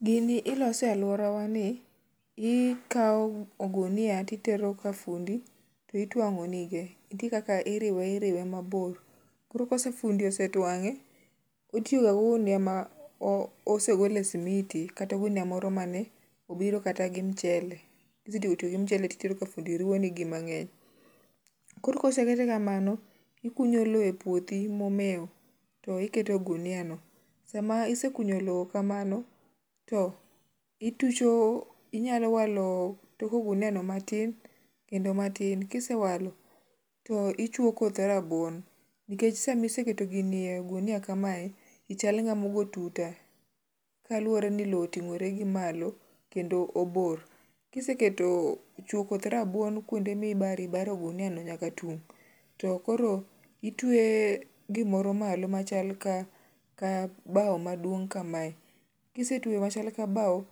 Gini ilose e aluorawa ni ,ikawo ogunia ti tero ka fundi ti twango ni ge nitie kaka iriwe iriwe mabor koro ka fundi osetwange, otiyo ga gi ogunia ma osegole simiti kata ogunia moro mae obiro gi mchele ,kisetieko gi mchele to itero ka gundi riwo ni gi mangeny, koro kosekete kamano, ikunyo lo e puothi momewo to iketo e gunia no, sama isekunyo lo kamano to inyalo walo tok ogunia matin kendo matin, kisewalo to ichuo koth rabuon nikech sama iseketo gini e gunia kamae ichal ng'ama ogo tuta kaluwore ni lo otingre gi malo kendo obor, kisechuo koth rabuon kuonde mibaro baro ogunia nyaka tung, to koro itweye gimaro malo machal ka bao maduong' kamae, kise tweyo gima chal kabao,